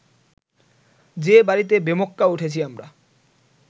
যে বাড়িতে বেমক্কা উঠেছি আমরা